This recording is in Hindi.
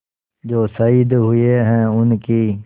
जो शहीद हुए हैं उनकी